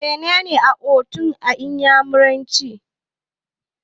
Mene ne 'Otu' a iyamuranci?